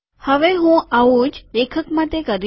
હવે હું આવું જ લેખક માટે કરીશ